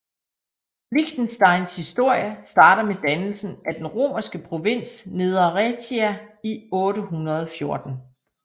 Liechtensteins historie starter med dannelsen af den romerske provins Nedre Raetia i 814